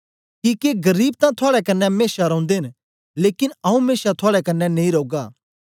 किके गरीब तां थुआड़े कन्ने मेशा रौंदे न लेकन आऊँ मेशा थुआड़े कन्ने नेई रौगा